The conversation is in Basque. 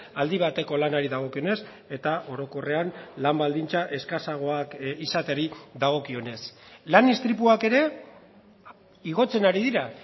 aldi bateko lanari dagokionez eta orokorrean lan baldintza eskasagoak izateari dagokionez lan istripuak ere igotzen ari dira